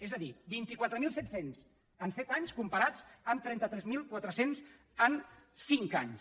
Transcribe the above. és a dir vint quatre mil set cents en set anys comparats amb trenta tres mil quatre cents en cinc anys